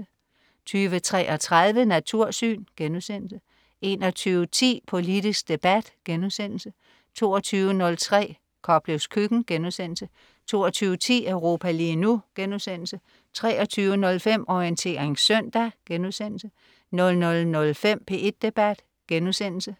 20.33 Natursyn* 21.10 Politisk debat* 22.03 Koplevs køkken* 22.10 Europa lige nu* 23.05 Orientering søndag* 00.05 P1 Debat*